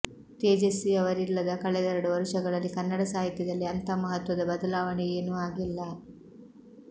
ತೇಜಸ್ವಿಯವರಿಲ್ಲದ ಕಳೆದೆರಡು ವರುಷಗಳಲ್ಲಿ ಕನ್ನಡ ಸಾಹಿತ್ಯದಲ್ಲಿ ಅಂಥ ಮಹತ್ವದ ಬದಲಾವಣೆಯೇನೂ ಆಗಿಲ್ಲ